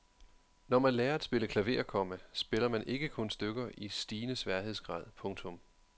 Når man lærer at spille klaver, komma spiller man ikke kun stykker i stigende sværhedsgrad. punktum